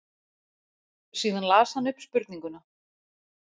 Síðan las hann upp spurninguna.